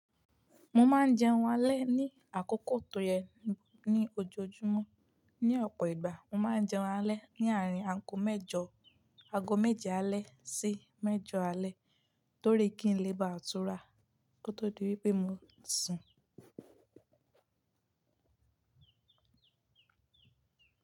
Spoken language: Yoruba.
Mo máa ń jẹun alẹ́ ní àkókò tó yẹ ní ojoojúmọ́. Ni ọ̀pọ̀ ìgbà, mo máa ń jẹun alẹ́ ní àárín ago mẹ́je alẹ́ sí mẹ́jọ alẹ́ torí kí n lè bá túrà kó tó di wípé mo ń sùn.